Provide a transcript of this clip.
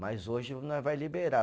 Mas hoje nós vai liberar.